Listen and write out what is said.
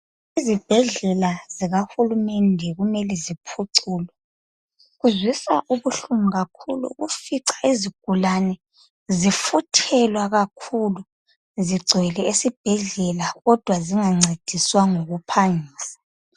Izibhedlela zikahulumende kumele ziphucuke, kuzwisa ubuhlungu kakhulu ukufica izigulane zifuthelwa kakhulu zigcwele esibhedlela kodwa zingancediswa ngokuphangisa.